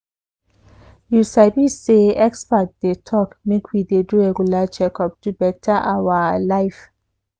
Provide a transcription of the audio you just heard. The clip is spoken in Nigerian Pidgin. you sabi say experts dey talk make we dey do regular checkup to better our life.